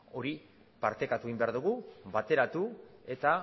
hori partekatu egin behar dugu bateratu eta